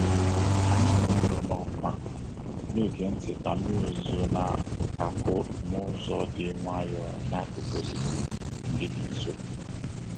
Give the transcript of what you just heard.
Anyị nọdụrụ n'ọkwa, na-ege ntị ka mmiri ozuzo na-akụ n'ụzọ dị nwayọ n'akụkụ osisi ndị dị nso.